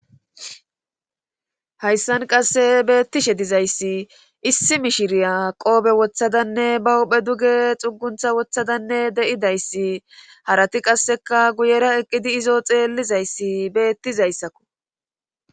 hayssan qasse beettishe dizayssi issi mishiriya qoobe wothadanne ba huphe duge xuguntha wothadanne de7idayssi harati qasseka guyera eqqidi izoo xeellizayssi beettizayssakko.